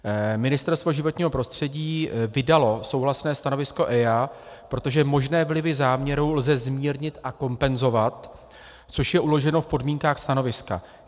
Ministerstvo životního prostředí vydalo souhlasné stanovisko EIA, protože možné vlivy záměru lze zmírnit a kompenzovat, což je uloženo v podmínkách stanoviska.